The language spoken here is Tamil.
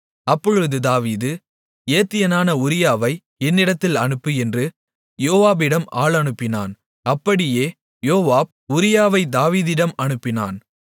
அப்பொழுது தாவீது ஏத்தியனான உரியாவை என்னிடத்தில் அனுப்பு என்று யோவாபினிடம் ஆள் அனுப்பினான் அப்படியே யோவாப் உரியாவைத் தாவீதிடம் அனுப்பினான்